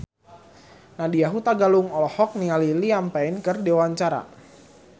Nadya Hutagalung olohok ningali Liam Payne keur diwawancara